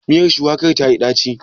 Miyar shuwakar tayi ɗaci?